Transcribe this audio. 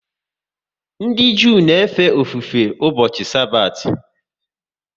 Ndị Jew na efe ofufe ụbọchị Sabathi